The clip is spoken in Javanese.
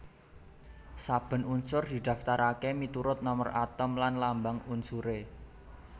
Saben unsur didaftaraké miturut nomer atom lan lambang unsuré